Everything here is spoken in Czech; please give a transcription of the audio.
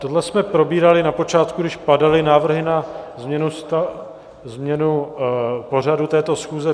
Tohle jsme probírali na počátku, když padaly návrhy na změnu pořadu této schůze.